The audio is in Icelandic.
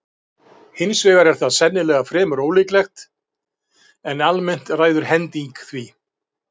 Hins vegar er það sennilega fremur ólíklegt, en almennt ræður hending því.